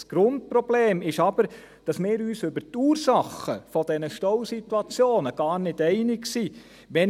Das Grundproblem ist aber, dass wir uns über die Ursachen dieser Stausituationen gar nicht einig sind.